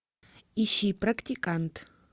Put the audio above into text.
ищи практикант